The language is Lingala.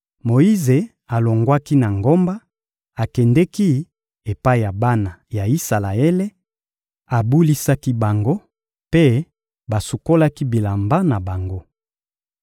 Moyize alongwaki na ngomba, akendeki epai ya bana ya Isalaele, abulisaki bango, mpe basukolaki bilamba na bango.